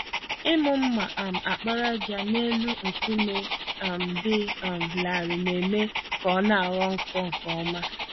Ịmụ mma um àkpàràjà n'elu nkume um dị um larịị na-eme ka ọnaghọ nkọ nke ọma.